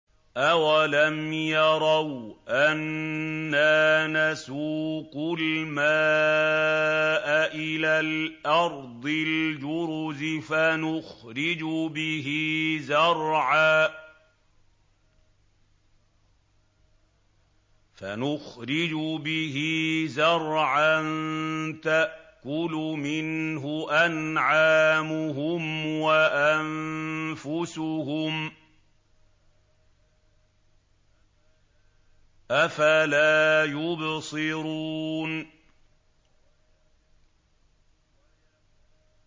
أَوَلَمْ يَرَوْا أَنَّا نَسُوقُ الْمَاءَ إِلَى الْأَرْضِ الْجُرُزِ فَنُخْرِجُ بِهِ زَرْعًا تَأْكُلُ مِنْهُ أَنْعَامُهُمْ وَأَنفُسُهُمْ ۖ أَفَلَا يُبْصِرُونَ